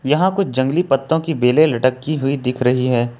यहां कुछ जंगली पत्तों की बेले लटकी हुई दिख रही है।